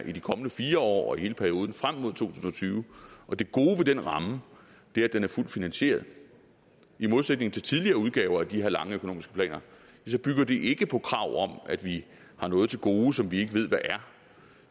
i de kommende fire år og hele perioden frem mod to tusind og tyve og det gode ved den ramme er at den er fuldt finansieret i modsætning til tidligere udgaver af de her lange økonomiske planer bygger det ikke på krav om at vi har noget til gode som vi ikke ved hvad er